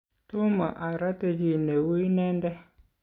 tomo aroti chi neu inende